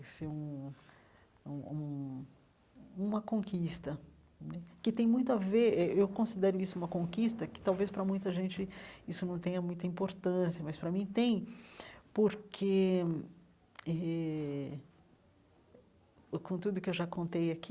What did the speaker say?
Isso é um é um um uma conquista né, que tem muito a ver... Eh eu considero isso uma conquista, que talvez para muita gente isso não tenha muita importância, mas para mim tem, porque eh, com tudo que eu já contei aqui,